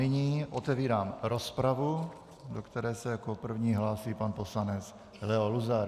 Nyní otevírám rozpravu, do které se jako první hlásí pan poslanec Leo Luzar.